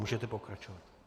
Můžete pokračovat.